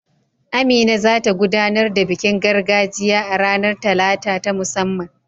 Amina za ta gudanar da bikin gargajiya a ranar Talata ta musamman.